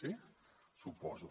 sí suposo